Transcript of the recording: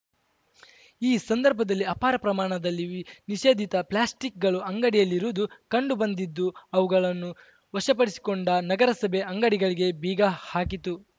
ಈ ಸಂದರ್ಭದಲ್ಲಿ ಅಪಾರ ಪ್ರಮಾಣದಲ್ಲಿ ನಿಷೇಧಿತ ಪ್ಲಾಸ್ಟಿಕ್‌ಗಳು ಅಂಗಡಿಯಲ್ಲಿರುವುದು ಕಂಡು ಬಂದಿದ್ದು ಅವುಗಳನ್ನು ವಶಪಡಿಸಿಕೊಂಡ ನಗರಸಭೆ ಅಂಗಡಿಗಳಿಗೆ ಬೀಗ ಹಾಕಿತು